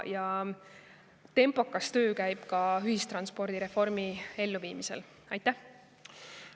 Ka ühistranspordireformi elluviimisel käib väga jõuline ja tempokas töö.